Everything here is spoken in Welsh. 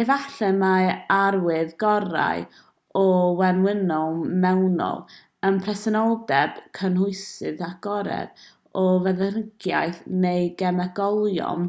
efallai mai'r arwydd gorau o wenwyno mewnol yw presenoldeb cynhwysydd agored o feddyginiaeth neu gemegolion